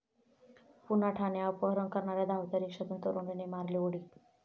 पुन्हा ठाणे!, अपहरण करणाऱ्या धावत्या रिक्षातून तरुणीने मारली उडी